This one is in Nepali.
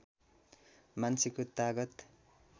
मान्छेको तागत